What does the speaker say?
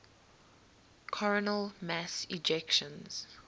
coronal mass ejections